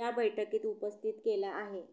या बैठकीत उपस्थित केला आहे